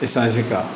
kan